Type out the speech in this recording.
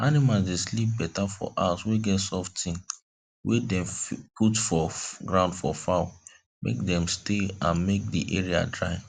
animals dey sleep better for house wey get soft thing wey dem put for ground for fowl make dem stay and make d area dry